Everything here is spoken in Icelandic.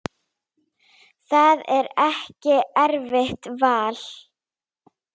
Það er ekki erfitt val.